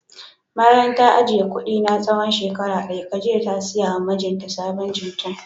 Bayan ta ajiye kudi na tsawon shekara daya Khadijat ta siya ma mijinta sabon jincheng